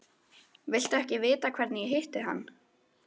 Viltu ekki vita hvernig ég hitti hann?